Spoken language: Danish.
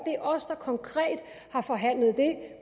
er os der konkret har forhandlet det